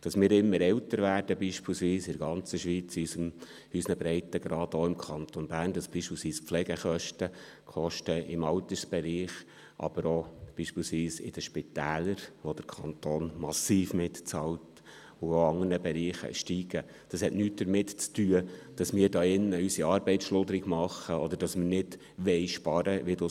Dass wir im Kanton Bern, in der Schweiz, in unseren Breitengraden beispielsweise immer älter werden, dass die Pflegekosten im Altersbereich und in den Spitälern steigen, welche der Kanton massiv mitfinanziert, das hat nichts damit zu tun, dass wir unsere Arbeit schludrig machen würden oder nicht sparen wollen.